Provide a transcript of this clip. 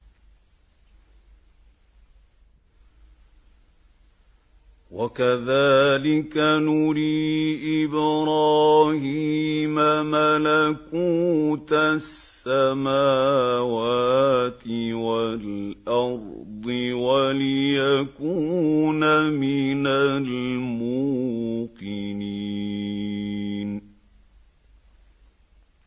وَكَذَٰلِكَ نُرِي إِبْرَاهِيمَ مَلَكُوتَ السَّمَاوَاتِ وَالْأَرْضِ وَلِيَكُونَ مِنَ الْمُوقِنِينَ